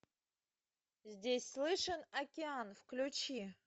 здесь слышен океан включи